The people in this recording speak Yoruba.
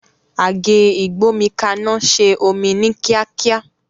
Àgé ìgbómikaná se omí ní kíákíá